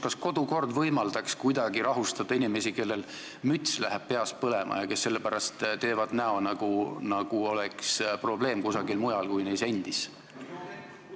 Kas kodukord võimaldaks kuidagi rahustada inimesi, kellel läheb müts peas põlema ja kes sellepärast teevad näo, nagu probleem oleks kusagil mujal kui neis endis?